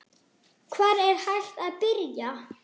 Hvar er hægt að byrja?